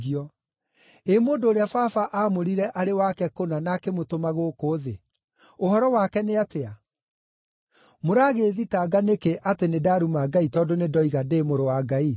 ĩ mũndũ ũrĩa Baba aamũrire arĩ wake kũna na akĩmũtũma gũkũ thĩ, ũhoro wake nĩ atĩa? Mũragĩĩthitanga nĩkĩ atĩ nĩndaruma Ngai tondũ nĩndoiga, ‘Ndĩ Mũrũ wa Ngai’?